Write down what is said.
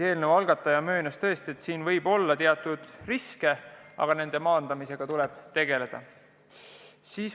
Eelnõu algataja möönis, et tõesti teatud risk võib olla, aga selle maandamisega tuleb tegeleda.